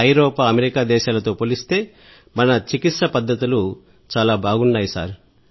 ఐరోపా అమెరికా దేశాలతో పోలిస్తే మన చికిత్స పద్ధతులు బాగున్నాయి సార్